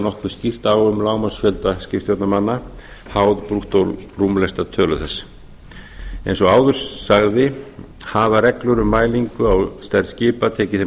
nokkuð skýrt á um lágmarksfjölda skipstjórnarmanna háð brúttórúmlestatölu þess eins og áður sagði hafa reglur um mælingu á stærð skipa tekið þeim